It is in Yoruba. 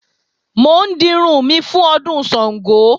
Mò ń dirun mi fún Ọdún Ṣàngó